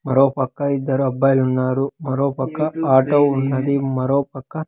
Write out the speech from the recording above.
మరో పక్క ఇద్దరు అబ్బాయిలు ఉన్నారు మరో పక్క ఆటో ఉన్నది మరో పక్క.